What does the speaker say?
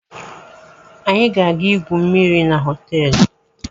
Anyị ga-aga igwu mmiri na họteelu.